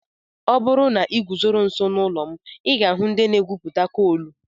Ọ bụrụ na ị guzoro nso n'ụlọ m, ị ga-ahụ ndị na-egwupụta koolù.